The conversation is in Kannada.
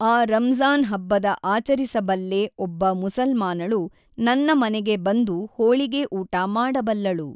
ಆ ರಂಜಾನ್ ಹಬ್ಬನ ಆಚರಿಸಬಲ್ಲೆ ಒಬ್ಬ ಮುಸಲ್ಮಾನಳು ನನ್ನ ಮನೆಗೆ ಬಂದು ಹೋಳಿಗೆ ಊಟ ಮಾಡಬಲ್ಲಳು